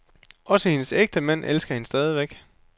Også hendes ægtemænd elsker hende stadig.